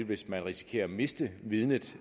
hvis man risikerer at miste vidnet